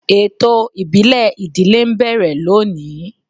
Ètò ìbílẹ̀ ìdílé ń bẹ̀rẹ̀ lónìí.